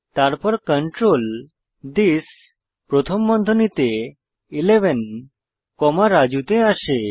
তারপর control this প্রথম বন্ধনীতে 11 কমা রাজু তে আসে